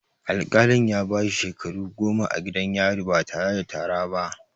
Al-kalin ya bashi shekaru goma a gidan yari ba tare da tara ba